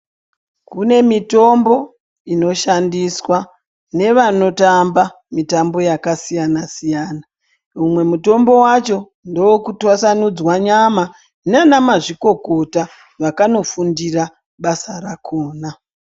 Kune mitombo inoshandiswa nevanotamba mitambo yakasiyana siyana umwe mutombo wacho ndewekutwasanudzwa nyama nanamazvikokota vakanofundira basa rakona.